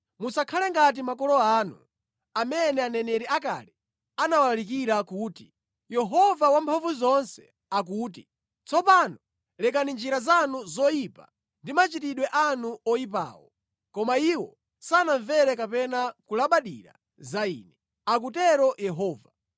Musakhale ngati makolo anu, amene aneneri akale anawalalikira kuti: Yehova Wamphamvuzonse akuti, ‘Tsopano lekani njira zanu zoyipa ndi machitidwe anu oyipawo.’ Koma iwo sanamvere kapena kulabadira za Ine, akutero Yehova.